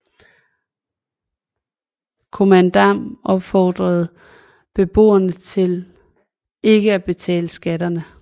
Kommandam opfordrede byboere til ikke at betale skatterne